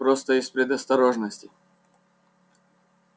просто из предосторожности